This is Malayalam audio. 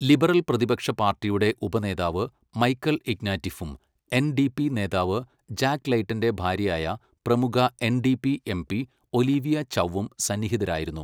ലിബറൽ പ്രതിപക്ഷ പാർട്ടിയുടെ ഉപനേതാവ് മൈക്കൽ ഇഗ്നാറ്റിഫും എൻഡിപി നേതാവ് ജാക്ക് ലെയ്ട്ടന്റെ ഭാര്യയായ പ്രമുഖ എൻഡിപി എംപി ഒലിവിയ ചൗവും സന്നിഹിതരായിരുന്നു.